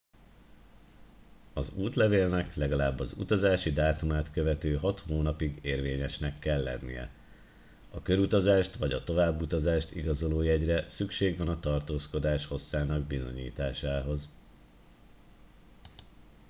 az útlevélnek legalább az utazási dátumát követő hat hónapig érvényesnek kell lennie a körutazást vagy továbbutazást igazoló jegyre szükség van a tartózkodás hosszának bizonyításához